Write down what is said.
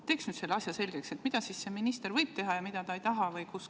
Teeks selle asja selgeks, mida minister võib teha ja mida ta ei taha teha.